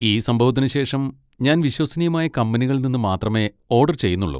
ഈ സംഭവത്തിന് ശേഷം ഞാൻ വിശ്വസനീയമായ കമ്പനികളിൽ നിന്ന് മാത്രമേ ഓഡർ ചെയ്യുന്നുള്ളു.